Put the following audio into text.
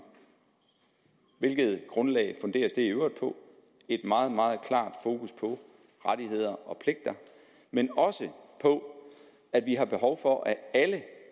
hvilket grundlag funderes det i øvrigt på et meget meget klart fokus på rettigheder og pligter men også på at vi har behov for at alle